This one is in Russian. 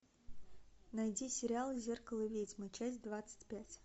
найди сериал зеркало ведьмы часть двадцать пять